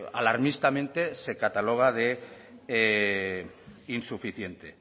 alarmistamente se cataloga de insuficiente